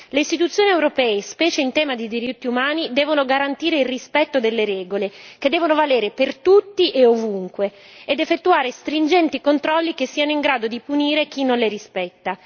Le Istituzioni europee, specie in tema di diritti umani devono garantire il rispetto delle regole che devono valere per tutti e ovunque ed effettuare stringenti controlli che siano in grado di punire chi non le rispetta.